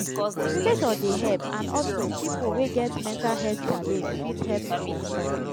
education dey help and also pipo wey get mental health challenge fit help understand